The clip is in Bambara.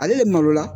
Ale de maloya